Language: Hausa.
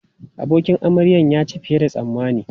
Abokin amaryan ya ci fiye da yadda tsammani.